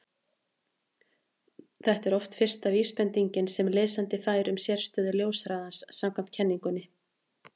þetta er oft fyrsta vísbendingin sem lesandi fær um sérstöðu ljóshraðans samkvæmt kenningunni